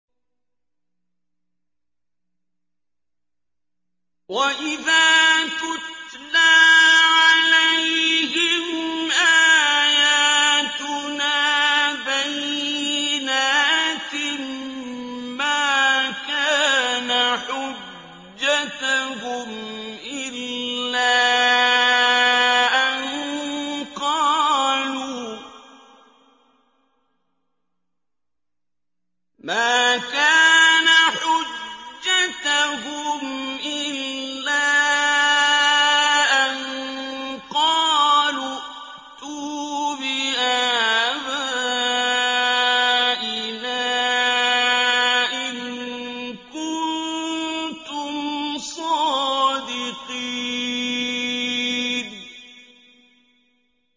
وَإِذَا تُتْلَىٰ عَلَيْهِمْ آيَاتُنَا بَيِّنَاتٍ مَّا كَانَ حُجَّتَهُمْ إِلَّا أَن قَالُوا ائْتُوا بِآبَائِنَا إِن كُنتُمْ صَادِقِينَ